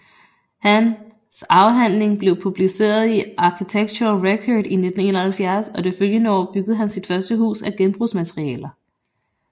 Han afhandling blev publiceret i Architectural Record i 1971 og det følgende år byggede han sit første hus af genbrugsmaterialer